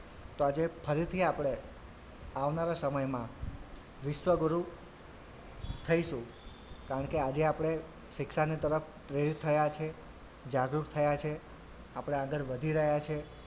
તો આજે ફરીથી આપડે આવનારા સમયમાં વિશ્વગુરુ થઈશું કારણકે આજે આપડે શિક્ષાની તરફ પ્રેરિત થયાં છે જાગૃત થયા છે આપડે આગળ વધી રહ્યાં છે.